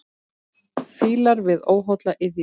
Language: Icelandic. Fílar við óholla iðju.